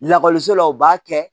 Lakɔliso la u b'a kɛ